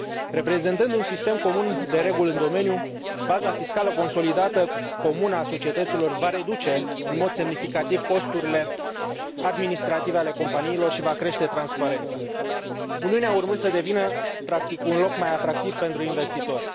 Reprezentând un sistem comun de reguli în domeniu, baza fiscală consolidată comună a societăților va reduce în mod semnificativ costurile administrative ale companiilor și va crește transparența, Uniunea urmând să devină practic un loc mai atractiv pentru investitori.